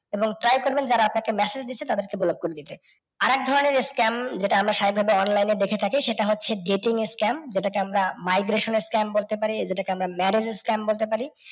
এবং try করবেন যারা আপনাকে message দিচ্ছে চ্তাদেরকে block করে দিতে। আর এক ধরণের scam যেটা আমরা সাভাবিকভাবে online এ দেখে থাকি সেটা হচ্ছে dating এর scam যেটা কে আমরা scam বলতে পারি, জেতাকে আমরা scam বলতে পারি।